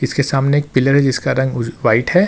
इसके सामने एक पिलर है जिसका रंग उज व्हाइट है।